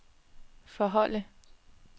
forholde